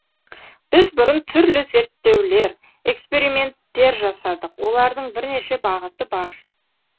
біз бұрын түрлі зерттеулер эксперименттер жасадық олардың бірнеше бағыты бар